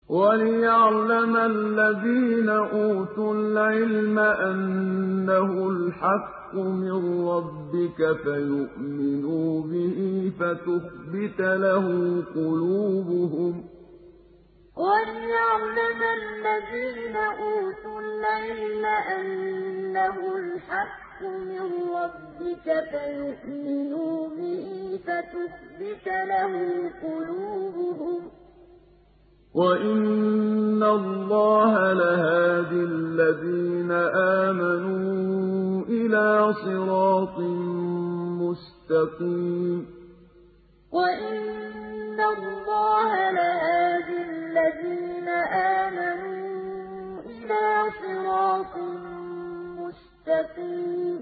وَلِيَعْلَمَ الَّذِينَ أُوتُوا الْعِلْمَ أَنَّهُ الْحَقُّ مِن رَّبِّكَ فَيُؤْمِنُوا بِهِ فَتُخْبِتَ لَهُ قُلُوبُهُمْ ۗ وَإِنَّ اللَّهَ لَهَادِ الَّذِينَ آمَنُوا إِلَىٰ صِرَاطٍ مُّسْتَقِيمٍ وَلِيَعْلَمَ الَّذِينَ أُوتُوا الْعِلْمَ أَنَّهُ الْحَقُّ مِن رَّبِّكَ فَيُؤْمِنُوا بِهِ فَتُخْبِتَ لَهُ قُلُوبُهُمْ ۗ وَإِنَّ اللَّهَ لَهَادِ الَّذِينَ آمَنُوا إِلَىٰ صِرَاطٍ مُّسْتَقِيمٍ